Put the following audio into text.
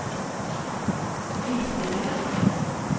visningene